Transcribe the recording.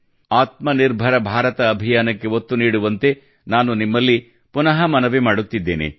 ಆತ್ಮ ನಿರ್ಭರ ಭಾರತ ಅಭಿಯಾನಕ್ಕೆ ಒತ್ತು ನೀಡುವಂತೆ ನಾನು ನಿಮ್ಮಲ್ಲಿ ಪುನಃ ಮನವಿ ಮಾಡುತ್ತಿದ್ದೇನೆ